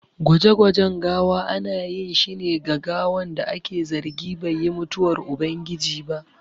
Gwaje gwajen gawa ana ƴin shi ne ga gawan da aƙe zargi bai yi mutuwar ubangiji.